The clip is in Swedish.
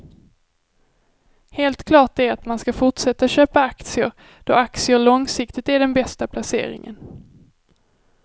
Helt klart är att man ska fortsätta att köpa aktier då aktier långsiktigt är den bästa placeringen.